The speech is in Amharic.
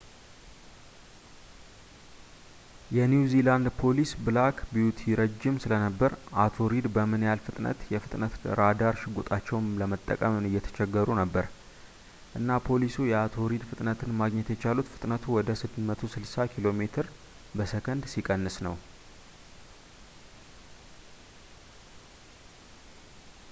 የኒው ዚላንድ ፖሊስ ብላክ ቢዩቲ ረጅም ስለነበረ አቶ ሪድ በምን ያህል ፍጥነት የፍጥነት ራዳር ሽጉጣቸውን ለመጠቀም እየተቸገሩ ነበር፣ እና ፖሊሱ የአቶ ሪድ ፍጥነትን ማግኘት የቻሉት ፍጥነቱን ወደ 160 ኪሜ/ሰ ሲቀንስ ነው